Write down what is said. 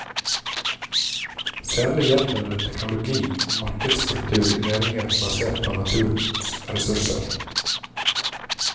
Særlig gjelder det teknologi og markedsstruktur i næringer basert på naturens ressurser.